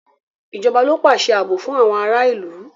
Ìjọba ló ń pàṣẹ ààbò fún àwọn ará ìlú.